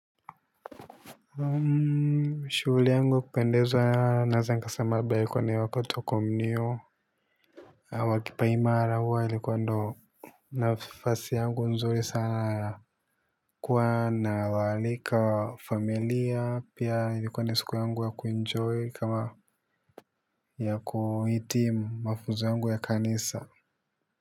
Shughuli yangu kupendeza naeza nikasama ambaye ilikuwa ni wakati wa kumninio wa kipaimara huwa ilikuwa ndo nafasi yangu nzuri sana kuwa nawaalika familia pi ilikuwa ni siku yangu ya kuenjoy kama ya kuhitimu mafunzo yangu ya kanisa.